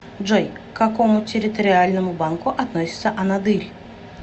джой к какому территориальному банку относится анадырь